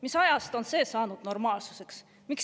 Mis ajast on see saanud normaalsuseks?